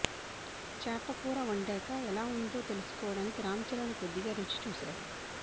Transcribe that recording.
చేపకూర వండాక ఎలా ఉందొ తెలుసు కోవడానికి రాంచరణ్ కొద్దిగా రుచి చూశాడు